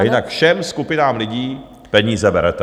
A jinak všem skupinám lidí peníze berete.